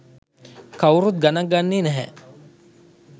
කවුරුත් ගණන් ගන්නේ නැහැ.